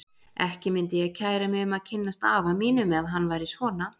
Ekki myndi ég kæra mig um að kynnast afa mínum ef hann væri svona.